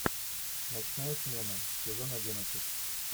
ночная смена сезон одиннадцать